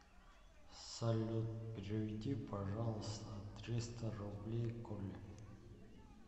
салют переведи пожалуйста триста рублей коле